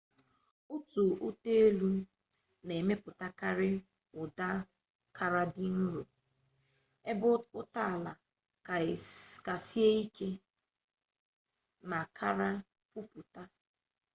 otu ụta-elu na emepụtakarị ụda kara dị nro ebe ụta-ala ka sie ike ma kara kwupụta